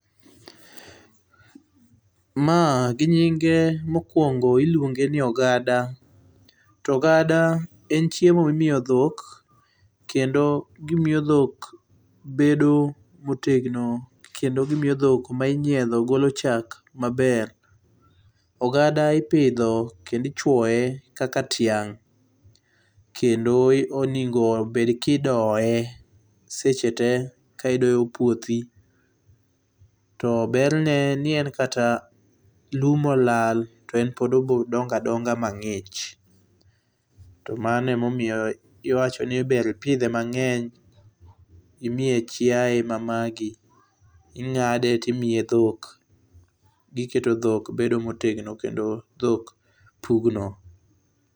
Ma gi nyinge mokuongo ilionge ni ogada, to ogada en chiemo mimiyo dhok kendo gimiyo dhok bedo motegno kendo gimiyo dhok ma inyiedho golo chak maber. Ogada ipidho kendo ichuoye kaka tiang kendo onego obed kidoye seche tee ka idoyo puothi to berne ni en kata lum olal to en pod obro dongo adonga mangich to mano ema omiyo iwachoni ber ipidhe mangeny imiye chiaye ma magi, ingade timiye dhok, giketo dhok bedo motegno kendo dhok pugno